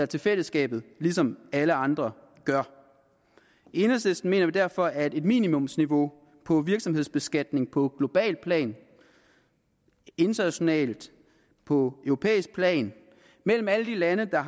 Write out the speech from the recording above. til fællesskabet ligesom alle andre gør i enhedslisten mener vi derfor at et minimumsniveau på virksomhedsbeskatning på globalt plan internationalt på europæisk plan mellem alle de lande der